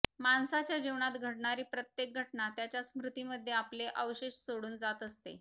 माणसाच्या जीवनात घडणारी प्रत्येक घटना त्याच्या स्मृतीमध्ये आपले अवशेष सोडून जात असते